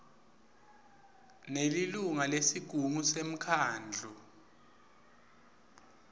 nelilunga lesigungu semkhandlu